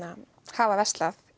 hafa verslað